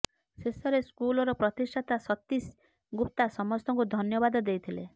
ଶେଷରେ ସ୍କୁଲର ପ୍ରତିଷ୍ଠାତା ସତୀସ୍ ଗୁପ୍ତା ସମସ୍ତଙ୍କୁ ଧନ୍ୟବାଦ ଦେଇଥିଲେ